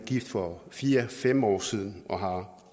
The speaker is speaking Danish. gift for fire fem år siden og har